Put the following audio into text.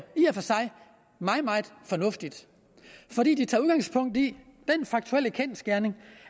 i og for sig meget meget fornuftigt fordi det tager udgangspunkt i den kendsgerning